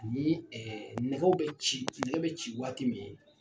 Ni ɛ nɛgɛw bɛ ci nɛgɛ bɛ ci waati min